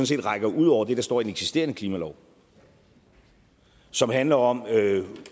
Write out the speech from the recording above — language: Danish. set rækker ud over det der står i den eksisterende klimalov og som handler om